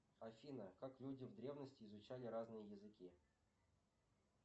афина как люди в древности изучали разные языки